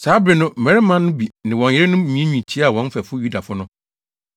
Saa bere no mmarima no bi ne wɔn yerenom nwiinwii tiaa wɔn mfɛfo Yudafo no.